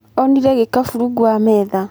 Onĩre cafh rũngũ rwa metha